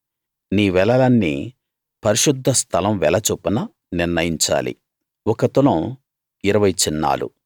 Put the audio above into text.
నీ వెలలన్నీ పరిశుద్ధ స్థలం వెల చొప్పున నిర్ణయించాలి ఒక తులం ఇరవై చిన్నాలు